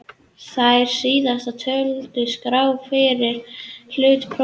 Þær síðast töldu skrá fyrir hlutum prótíns sem genið er forskrift að.